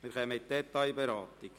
Wir kommen zur Detailberatung.